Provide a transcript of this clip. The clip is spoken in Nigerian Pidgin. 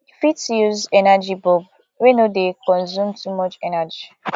you fit use energy bulb wey no dey consume too much energy